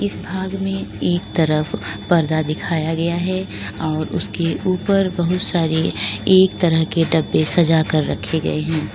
इस भाग में एक तरफ पर्दा दिखाया गया है और उसके ऊपर बहुत सारे एक तरह के डब्बे सजा कर रखे गए हैं।